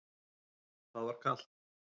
Það var kalt.